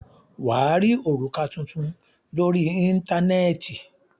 Wà á rí òrùka tuntun lórí Íńtánẹ́ẹ̀tì.